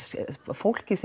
fólkið